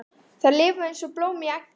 Þær lifa eins og blóm í eggi.